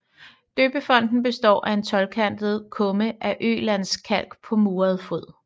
Døbefonten består af en tolvkantet kumme af ølandskalk på muret fod